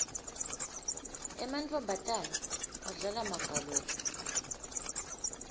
emantfombatana adlala magalophu